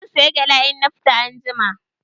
Zan saya gyada in na fita anjima.